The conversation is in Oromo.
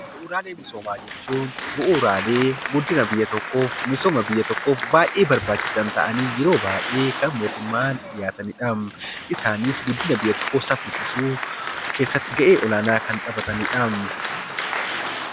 Bu'uuraalee misoomaa jechuun bu'uuraalee guddina biyya tokkoof misooma biyya tokkoof baayyee barbaachisaa kan ta'anii yeroo baayyee kan mootummaan dhiyaataniidhaam. Isaannis guddina biyya tokkoo saffisiisuu keessatti ga'ee olaanaa kan taphataniidha.